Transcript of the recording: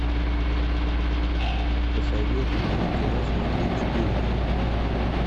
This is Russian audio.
посоветуй мне кино смотреть шпионам